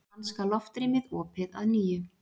Danska loftrýmið opið að nýju